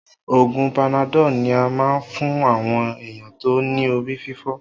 Oògùn panadol ní a máa ń fún àwọn èèyàn tó ní orí fífọ́